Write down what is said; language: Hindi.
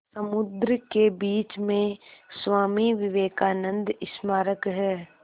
समुद्र के बीच में स्वामी विवेकानंद स्मारक है